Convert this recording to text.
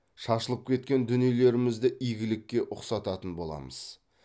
шашылып кеткен дүниелерімізді игілікке ұқсататын боламыз